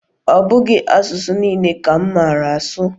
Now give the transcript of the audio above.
Ọ bụghị asụsụ niile ka m maara asụ.